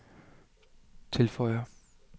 tilføjer